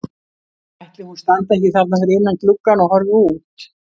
Ætli hún standi ekki þarna fyrir innan gluggann og horfi út?